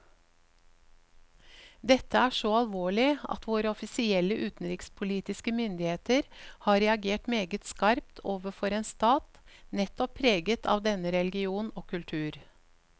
Dette er så alvorlig at våre offisielle utenrikspolitiske myndigheter har reagert meget skarpt overfor en stat nettopp preget av denne religion og kultur.